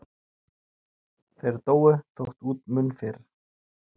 Þeir dóu þó út mun fyrr.